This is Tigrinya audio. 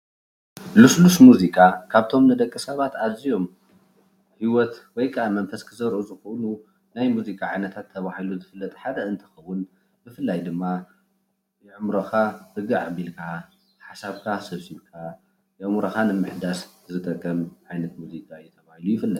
ልሱሉስ ሙዚቃ ካብቶም ንደቅ ሳባት ኣዝዮም ሂወት ወይካዓ መንፍስ ክዘርኡ ዝክእሉ ናይ ሙዚቃ ዓይነታት ተበሂሉ ዝፍለጥ ሓደ እንትከውን ብፍላይ ድማ ኣእምሮካ ርግዕ ኣብልካ ሓሰብካ ሰብስብካ ኣእምሮካ ንምሕዳስ ዝጠቅም ዓይነት ሙዚቃ እዩ። ተባሂሉ ይፍለጥ።